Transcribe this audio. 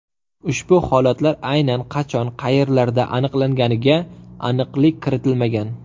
Ushbu holatlar aynan qachon, qayerlarda aniqlanganiga aniqlik kiritilmagan.